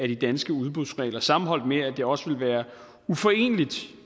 de danske udbudsregler sammenholdes med at det også ville være uforeneligt